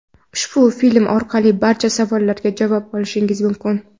Ushbu film orqali barcha savollarga javob olishingiz mumkin.